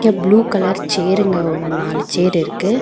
அந்த blue colour சேருங்க ஒரு நாலு சேர் இருக்கு.